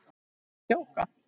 Ertu að djóka!?